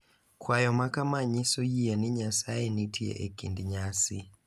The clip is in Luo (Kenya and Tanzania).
Kwayo makama nyiso yie ni Nyasaye nitie e kinde nyasi,